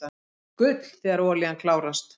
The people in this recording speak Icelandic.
Gull þegar olían klárast